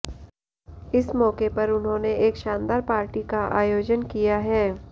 इस मौके पर उन्होंने एक शानदार पार्टी का आयोजन किया है